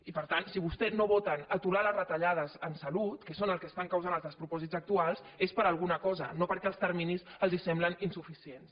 i per tant si vostès no voten aturar les retallades en salut que és el que estan causant els despropòsits actuals és per alguna cosa no perquè els terminis els semblin insuficients